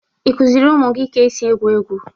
Ị kụziri ụmụ gị ka esi egwu egwu?